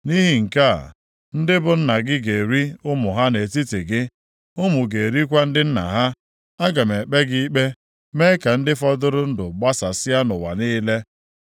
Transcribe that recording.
Nʼihi nke a, ndị bụ nna ga-eri ụmụ ha nʼetiti gị, ụmụ ga-erikwa ndị nna ha. Aga m ekpe gị ikpe mee ka ndị fọdụrụ ndụ gbasasịa nʼụwa niile.